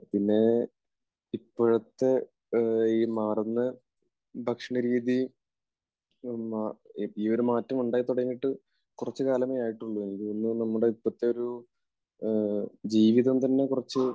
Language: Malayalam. പിന്നെ ഇപ്പോഴത്തെ ഈ മാറുന്ന ഭക്ഷണരീതി, ഈയൊരു മാറ്റമുണ്ടായി തുടങ്ങിയിട്ട് കുറച്ചു കാലമേ ആയിട്ടുള്ളൂ. എനിക്ക് തോന്നുന്നത് നമ്മുടെ ഇപ്പോഴത്തെ ഒരു ജീവിതം തന്നെ കുറച്ച്